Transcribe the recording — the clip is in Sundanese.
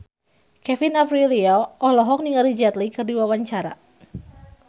Kevin Aprilio olohok ningali Jet Li keur diwawancara